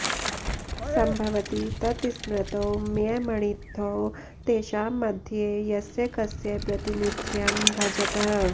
सम्भवति तत्स्मृतौ मयमणित्थौ तेषां मध्ये यस्य कस्य प्रातिनिध्यं भजतः